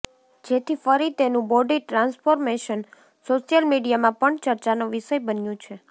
જેથી ફરી તેનું બોડી ટ્રાન્સફોર્મેશન સોશિયલ મીડિયામાં પણ ચર્ચાનો વિષય બન્યું છે